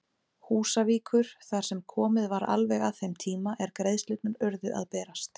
Húsavíkur þar sem komið var alveg að þeim tíma er greiðslurnar urðu að berast.